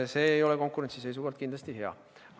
See ei ole konkurentsi seisukohalt kindlasti hea.